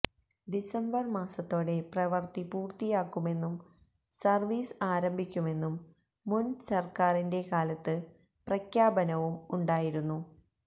December മാസത്തോടെ പ്രവര്ത്തി പൂര്ത്തിയാക്കുമെന്നും സര്വ്വീസ് ആരംഭിക്കുമെന്നും മുന് സര്ക്കാറിന്റെ കാലത്ത് പ്രഖ്യാപനവും ഉണ്ടയായിരുന്നു